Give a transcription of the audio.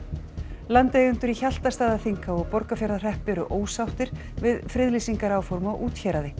landeigendur í Hjaltastaðaþinghá og Borgarfjarðarhreppi eru ósáttir við friðlýsingaráform á úthéraði